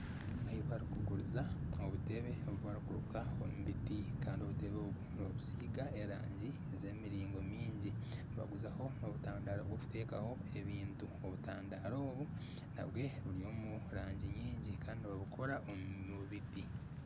Ahi barikuguriza obutebe obu barikuruka omu biti Kandi obutebe nibabusiiga erangi z'emiringo mingi. Nibaguzaho n'obutandaro bwokutekaho ebintu. Obutandaro obu nabyo buri omurangi nyingi Kandi nibabukora omu biti.